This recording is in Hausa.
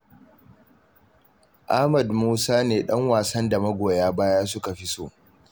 Ahmad Musa ne ɗan wasan da magoya baya suka fi so.